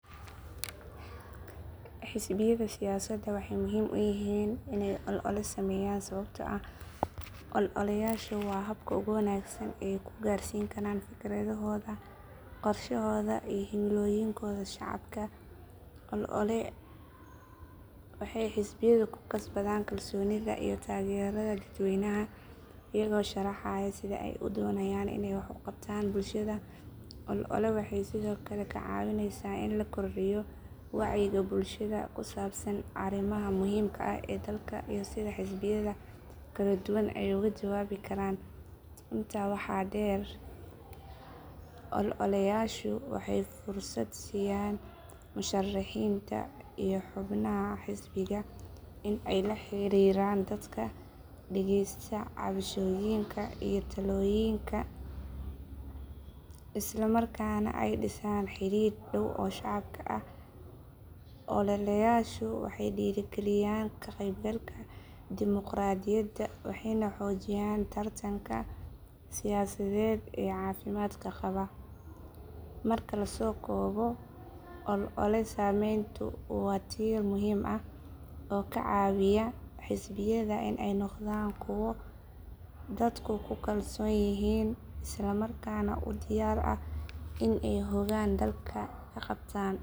Xisbiyada siyaasadda waxay muhiim u yihiin inay olole sameeyaan sababtoo ah ololeyaashu waa habka ugu wanaagsan ee ay ku gaarsiin karaan fikradahooda, qorshahooda, iyo himilooyinkooda shacabka. Olole waxay xisbiyadu ku kasbadaan kalsoonida iyo taageerada dadweynaha iyagoo sharaxaya sida ay u doonayaan inay wax u qabtaan bulshada. Olole waxay sidoo kale ka caawisaa in la kordhiyo wacyiga bulshada ku saabsan arrimaha muhiimka ah ee dalka iyo sida xisbiyada kala duwan ay uga jawaabi karaan. Intaa waxaa dheer, ololeyaashu waxay fursad siiyaan musharixiinta iyo xubnaha xisbiga in ay la xiriiraan dadka, dhageystaan cabashooyinka iyo talooyinka, isla markaana ay dhisaan xidhiidh dhow oo shacabka ah. Ololeyaashu waxay dhiirrigeliyaan ka qaybgalka dimuqraadiyadda waxayna xoojiyaan tartanka siyaasadeed ee caafimaadka qaba. Marka la soo koobo, olole sameyntu waa tiir muhiim ah oo ka caawiya xisbiyada in ay noqdaan kuwo dadku ku kalsoon yihiin isla markaana u diyaar ah in ay hoggaan dalka ka qabtaan.